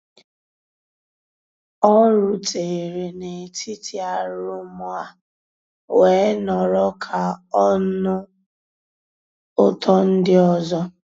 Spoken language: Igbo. ọ́ rùtérè n'étítì àrụ́móóá weé nọ̀rọ́ ká ọ́ nụ́ ụtọ́ ndị́ ọ́zọ́.